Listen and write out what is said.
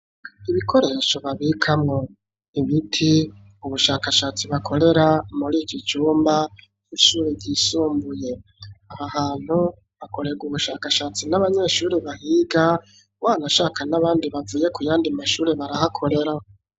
Ibikoresho babikamwo imiti, ubushakashatsi bakorera muri iki cumba, ishuri ryisumbuye abahantu bakorera ubushakashatsi, n'abanyeshuri bahiga, wanashaka n'abandi bavuye ku yandi mashuri barahakorera.